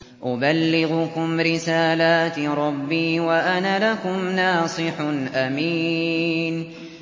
أُبَلِّغُكُمْ رِسَالَاتِ رَبِّي وَأَنَا لَكُمْ نَاصِحٌ أَمِينٌ